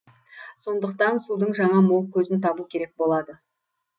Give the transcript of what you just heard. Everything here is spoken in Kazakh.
сондықтан судың жаңа мол көзін табу керек болады